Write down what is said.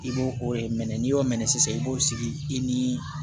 I b'o o de mɛn n'i y'o mɛɛn sisan i b'o sigi i ni